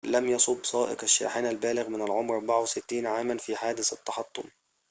لم يُصب سائق الشاحنة البالغ من العمر 64 عاماً في حادث التحطم